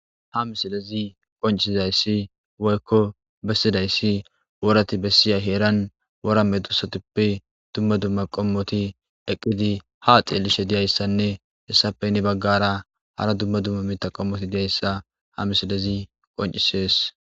Ha misilezi qoncisizayssi woykko bessidayssi worati bessiya heeran woramme dusatuppe dumma dumma qommoti eqqidi ha xeellishe diyayssanne hessapeyni baggara hara dumma dumma miita qommoti diyayssa ha misilezi qoncisees.